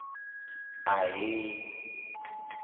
ahee